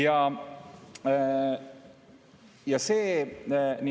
Aitäh!